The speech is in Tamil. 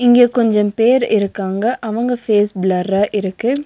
இங்க கொஞ்ச பேர் இருக்காங்க அவங்க ஃபேஸ் ப்ளர்ரா இருக்கு.